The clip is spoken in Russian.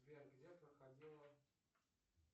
сбер где проходила